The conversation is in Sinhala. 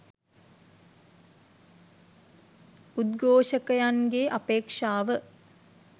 උද්ඝෝෂකයන්ගේ අපේක්ෂාව